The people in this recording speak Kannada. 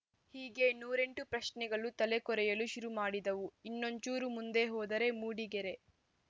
ಹೀಗೆ ನೂರೆಂಟು ಪ್ರಶ್ನೆಗಳು ತಲೆ ಕೊರೆಯಲು ಶುರು ಮಾಡಿದವು ಇನ್ನೊಂಚೂರು ಮುಂದೆ ಹೋದರೆ ಮೂಡಿಗೆರೆ